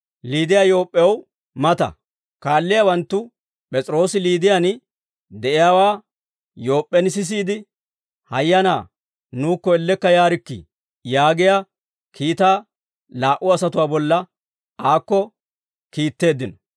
Liiday Yoop'p'ew mata; kaalliyaawanttu P'es'iroosi Liidiyaan de'iyaawaa Yoop'p'en sisiide, «Hayyanaa nuukko ellekka yaarikkii» yaagiyaa kiitaa laa"u asatuwaa bolla aakko kiitteeddino.